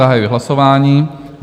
Zahajuji hlasování.